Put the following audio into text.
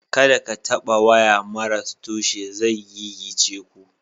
Kada ka taɓa waya maras tushe zai gigice ku.